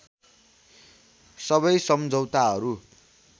सबै सम्झौताहरू